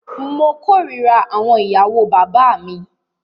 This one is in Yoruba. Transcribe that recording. Mó kòrira àwọn ìyàwó bàbá mí.